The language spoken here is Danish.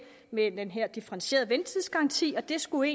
med den her differentierede ventetidsgaranti og det skulle